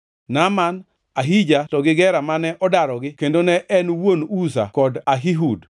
Naaman, Ahija to gi Gera mane odarogi kendo ne en wuon Uza kod Ahihud.